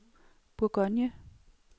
Bourgogne